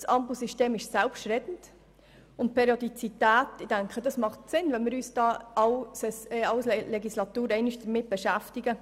Das Ampelsystem ist selbstredend, und es macht Sinn, wenn wir uns in jeder Legislatur einmal damit beschäftigen.